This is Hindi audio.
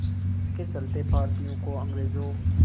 इसके चलते भारतीयों को अंग्रेज़ों